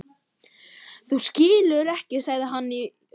Þú skilur ekki sagði hann í uppgjöf.